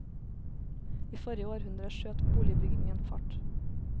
I forrige århundre skjøt boligbyggingen fart.